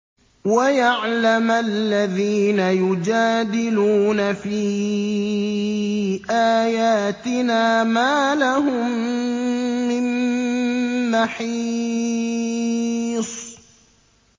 وَيَعْلَمَ الَّذِينَ يُجَادِلُونَ فِي آيَاتِنَا مَا لَهُم مِّن مَّحِيصٍ